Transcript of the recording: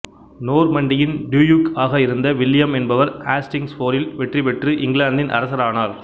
நோர்மண்டியின் duke ஆக இருந்த William என்பவர் ஆஸ்டிங்ஸ் போரில் வெற்றி பெற்று இங்கிலாந்தின் அரசரானார்